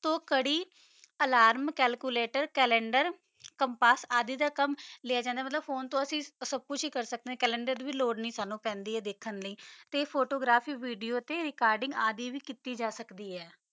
ਤੋ ਕਰੀ calculator alarm calendar compass ਕਾਮ ਲ੍ਯ ਜਾਂਦਾ ਆ ਮਤਲਬ ਫੋਨੇ ਤੋ ਅਸੀਂ ਸੁਬ ਕੁਛ ਕਰ ਸਕਦਾ ਆ ਕੈਲ੍ਛੁਲਾਟਰ ਦੀ ਲੋਰ ਨਹੀ ਪੈਂਦੀ ਕਾ ਫੋਟੋਗ੍ਰਾਫ ਤਾ ਵਿਡੋ ਆਵਦੀ ਵੀ ਰੇਕਾਰ੍ਡ ਕੀਤੀ ਜਾ ਸਕਦੀ ਆ